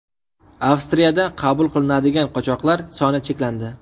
Avstriyada qabul qilinadigan qochoqlar soni cheklandi.